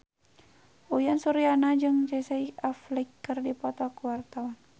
Uyan Suryana jeung Casey Affleck keur dipoto ku wartawan